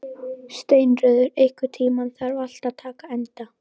Steinröður, einhvern tímann þarf allt að taka enda.